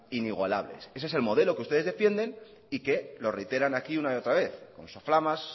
inigualables ese es el modelo que ustedes defienden y que lo reiteran aquí una y otra vez con soflamas